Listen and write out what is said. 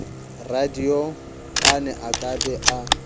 radiopane a ka be a